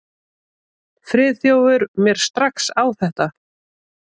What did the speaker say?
Friðþjófur mér strax á þetta.